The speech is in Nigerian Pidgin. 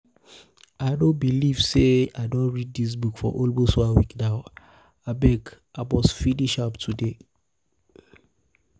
i no believe say i don read dis book for almost one week now. abeg i must finish am today.